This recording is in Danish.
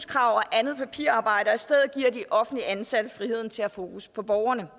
andet papirarbejde og i stedet giver de offentligt ansatte friheden til at have fokus på borgerne